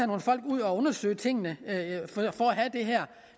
nogle folk ud og undersøge tingene